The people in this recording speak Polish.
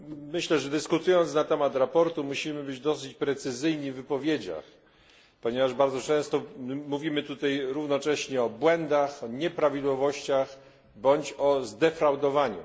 Myślę, że dyskutując na temat sprawozdania, musimy być dosyć precyzyjni w wypowiedziach, ponieważ bardzo często mówimy tutaj równocześnie o błędach, o nieprawidłowościach, bądź o zdefraudowaniu.